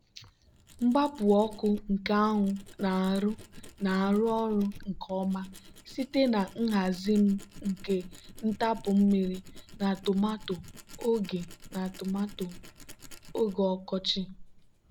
mgbapu ọkụ nke anwụ na-arụ na-arụ ọrụ nke ọma site na nhazi m nke ntapu mmiri na tomato oge na tomato oge ọkọchị.